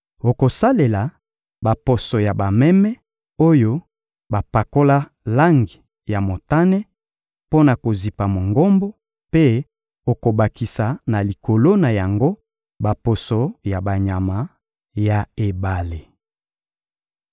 Okosalela baposo ya bameme oyo bapakola langi ya motane mpo na kozipa Mongombo, mpe okobakisa na likolo na yango baposo ya banyama ya ebale.